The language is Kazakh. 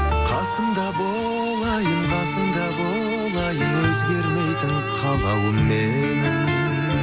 қасымда бол айым қасымда бол айым өзгермейтін қалауым менің